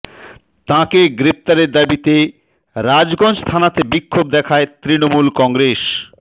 তাঁকে গ্রেফতারের দাবিতে রাজগঞ্জ থানাতে বিক্ষোভ দেখায় তৃণমূল কংগ্রেস